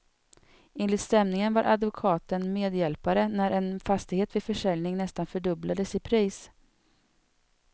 Enligt stämningen var advokaten medhjälpare när en fastighet vid försäljning nästan fördubblades i pris.